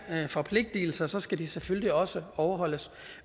forpligtelser skal de selvfølgelig også overholdes